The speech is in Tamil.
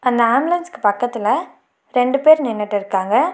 அந்த ஆம்புலன்ஸ்க்கு பக்கத்துல ரெண்டு பேர் நின்னுட்டு இருக்காங்க.